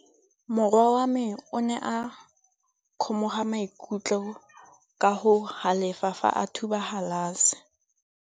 Morwa wa me o ne a kgomoga maikutlo ka go galefa fa a thuba galase.